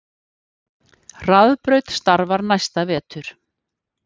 Hraðbraut starfar næsta vetur